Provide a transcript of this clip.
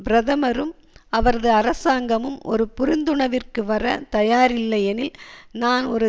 பிரதமரும் அவரது அரசாங்கமும் ஒரு புரிந்துணர்விற்கு வர தாயாரில்லையெனில் நான் ஒரு